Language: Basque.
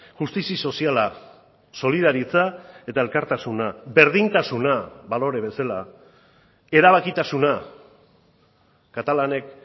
justizia soziala solidaritza eta elkartasuna berdintasuna balore bezala erabakitasuna katalanek